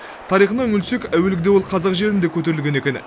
тарихына үңілсек әуелгіде ол қазақ жерінде көтерілген екен